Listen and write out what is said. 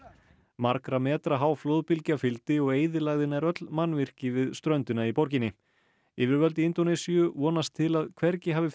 margra metra há flóðbylgja fylgdi og eyðilagði nær öll mannvirki við ströndina í borginni yfirvöld í Indónesíu vonast til að Palu hafi